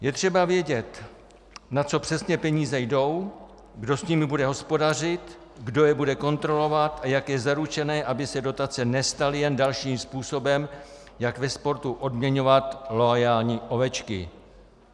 Je třeba vědět, na co přesně peníze jdou, kdo s nimi bude hospodařit, kdo je bude kontrolovat a jak je zaručené, aby se dotace nestaly jen dalším způsobem, jak ve sportu odměňovat loajální ovečky.